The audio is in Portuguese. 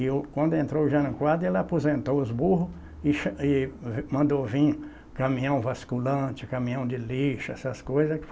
E o quando entrou o Jânio Quadros, ele aposentou os burros e cha e mandou vir caminhão vasculhante, caminhão de lixo, essas coisas.